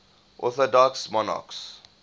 orthodox monarchs